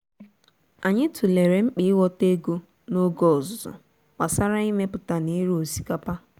anyị tụlere mkpa ịghọta ego n’oge ọzụzụ gbasara imepụta na ire osikapa